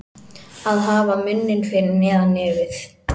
Að hafa munninn fyrir neðan nefið